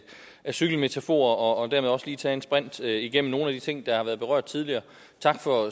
cykelmetaforer og dermed også lige tage et sprint igennem nogle af de ting der har været berørt tidligere tak for